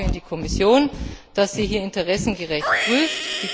Ich vertraue auf die Kommission, dass sie hier interessengerecht prüft.